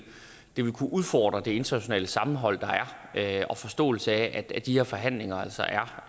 kunne udfordre det internationale sammenhold der er og forståelsen af at de her forhandlinger altså er